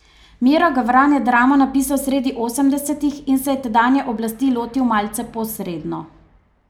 Miro Gavran je dramo napisal sredi osemdesetih in se je tedanje oblasti lotil malce posredno.